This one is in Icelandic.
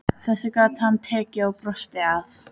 Þessu gat hann tekið og brosti að.